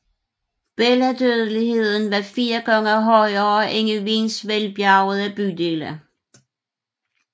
Børnedødeligheden var fire gange højere end i Wiens velbjergede bydele